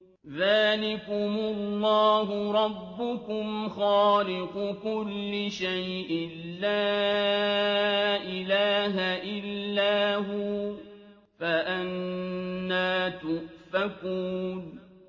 ذَٰلِكُمُ اللَّهُ رَبُّكُمْ خَالِقُ كُلِّ شَيْءٍ لَّا إِلَٰهَ إِلَّا هُوَ ۖ فَأَنَّىٰ تُؤْفَكُونَ